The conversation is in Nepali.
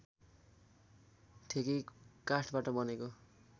ठेकी काठबाट बनेको